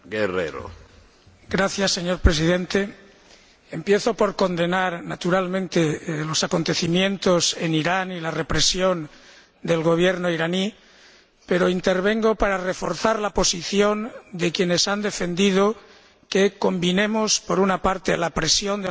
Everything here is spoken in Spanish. Señor Presidente, empiezo por condenar, naturalmente, los acontecimientos en Irán y la represión del Gobierno iraní, pero intervengo para reforzar la posición de quienes han defendido que combinemos la presión de las instituciones europeas